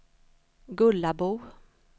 Gullabo